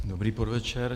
Dobrý podvečer.